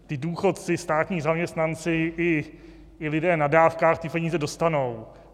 Ti důchodci, státní zaměstnanci i lidé na dávkách ty peníze dostanou.